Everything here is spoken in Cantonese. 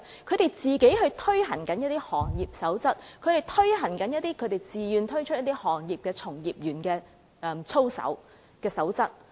他們自行推行一些行業守則，更自願推行一些行業從業員的操守守則。